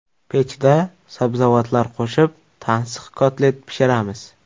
Pechda sabzavotlar qo‘shib tansiq kotlet pishiramiz.